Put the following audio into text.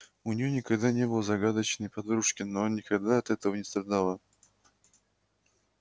у неё никогда не было закадычной подружки но она никогда от этого не страдала